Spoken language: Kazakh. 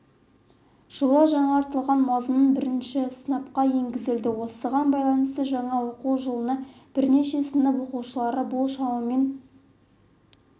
жылы жаңартылған мазмұн бірінші сыныпқа енгізіледі осыған байланысты жаңа оқу жылында бірінші сынып оқушылары бұл шамамен